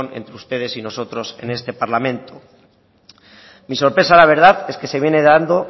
entre ustedes y nosotros en este parlamento mi sorpresa la verdad es que se viene dando